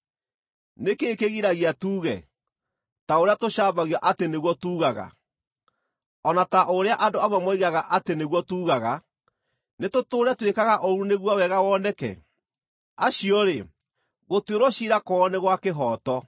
Nĩ kĩĩ kĩgiragia tuuge, ta ũrĩa tũcambagio atĩ nĩguo tuugaga, o na ta ũrĩa andũ amwe moigaga atĩ nĩguo tuugaga, “Nĩtũtũũre twĩkaga ũũru nĩguo wega woneke”? Acio-rĩ, gũtuĩrwo ciira kwao nĩ gwa kĩhooto.